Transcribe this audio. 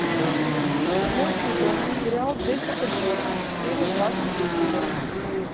седьмой сезон сериал джессика джонс серия двадцать четыре